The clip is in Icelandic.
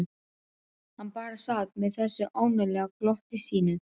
Hann bara sat með þessu ánalega glotti sínu.